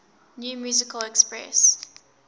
new musical express